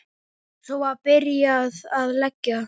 Svo var byrjað að leggja.